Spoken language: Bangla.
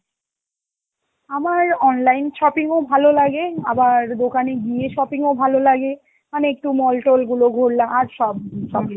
আমার online shopping ও ভালো লাগে, আবার দোকানে গিয়ে shopping ও ভালো লাগে মানে একটু mall-tall গুলো ঘুরলাম, আর সব~ সব